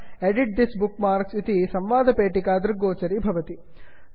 edit this bookmarks edit this bookmarks इति संवादपेटिका दृश्यते